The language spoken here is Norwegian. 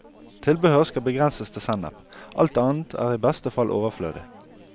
Tilbehør skal begrenses til sennep, alt annet er i beste fall overflødig.